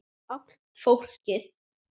Allt fólkið.